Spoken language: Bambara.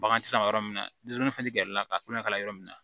Bagan tɛ san yɔrɔ min na dusukun tɛ gɛrɛ i la ka kulonkɛ kalan yɔrɔ min na